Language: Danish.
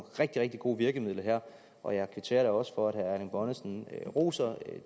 rigtig rigtig gode virkemidler her og jeg kvitterer da også for at herre erling bonnesen roser